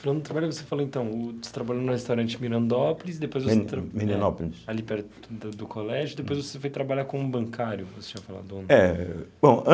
Então do trabalho você então, você trabalhou no restaurante Mirandópolis, depois você Milenopólis ali perto do do colégio, depois você foi trabalhar como bancário, você tinha falado. É bom an